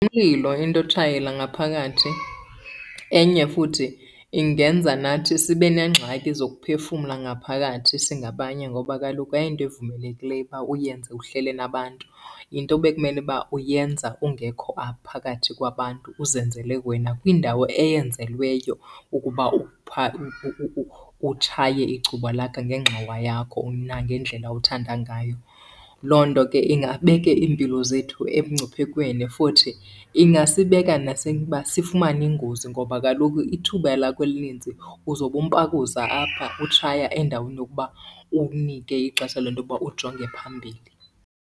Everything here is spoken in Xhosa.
Ngumlilo into yotshayela ngaphakathi enye futhi ingenza nathi sibe neengxaki zokuphefumla ngaphakathi singabanye, ngoba kaloku ayiyonto evumelekileyo uba uyenze uhleli nabantu. Yinto bekumele uba uyenza ungekho apha phakathi kwabantu, uzenzele wena kwindawo eyenzelweyo ukuba utshaye icuba lakho ngengxowa yakho nangendlela othanda ngayo. Loo nto ke ingabeka iimpilo zethu emngciphekweni futhi ingasibeka uba sifumane iingozi, ngoba kaloku ithuba lakho elinintsi uzobe umpakuza apha utshaya endaweni yokuba unike ixesha lento yokuba ujonge phambili.